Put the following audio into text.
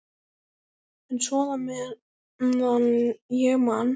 En svona meðan ég man.